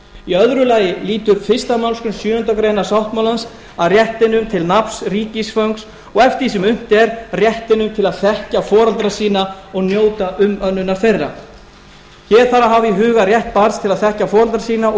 í öðru lagi lýtur fyrstu málsgrein sjöundu greinar sáttmálans að réttinum til nafns ríkisfangs og eftir því sem unnt er réttinum til að þekkja foreldra sína og njóta umönnunar þeirra hér þarf að hafa í huga rétt barns til að þekkja foreldra sína og